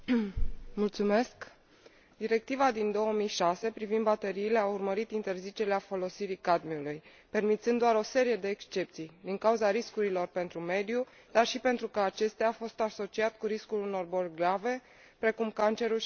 Directiva din 2006 privind bateriile a urmărit interzicerea folosirii cadmiului, permițând doar o serie de excepții, din cauza riscurilor pentru mediu, dar și pentru că acesta a fost asociat cu riscul unor boli grave, precum cancerul și afecțiunile cardio vasculare.